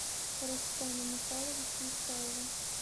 рустема михайловича исаева